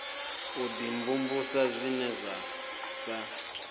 u dimvumvusa zwine zwa sa